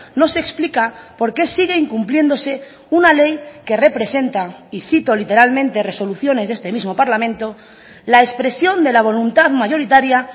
no se explica por qué sigue incumpliéndose una ley que representa y cito literalmente resoluciones de este mismo parlamento la expresión de la voluntad mayoritaria